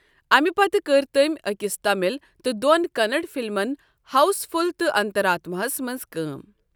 اَمہِ پتہٕ کٔر تٔمۍ أکِس تامل تہٕ دوٚن کننڑ فلمَن ہاؤس فل تہٕ انترآتماہَس منٛز کٲم۔